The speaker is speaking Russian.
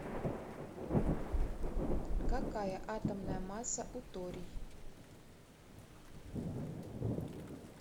какая атомная масса у торий